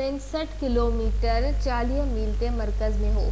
65 kilometre 40 mile تي مرڪز ۾ هو